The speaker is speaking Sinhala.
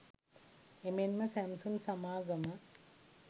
එමෙන්ම සැම්සුන් සමාගම